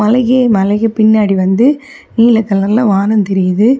அழகிய மலைக்கு பின்னாடி வந்து நீல கலர்ல வானம் தெரியுது.